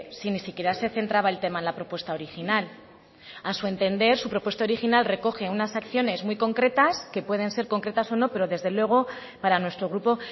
si ni siquiera se centraba el tema en la propuesta original a su entender su propuesta original recoge unas acciones muy concretas que pueden ser concretas o no pero desde luego para nuestro grupo